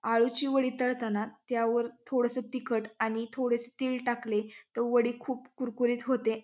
आळूची वडी तळताना त्यावर थोडस तिखट आणि थोडेसे तिळ टाकले तर वडी खूप कुरकुरीत होते.